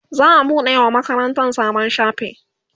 za'a buɗe wa makarantan sabon shafi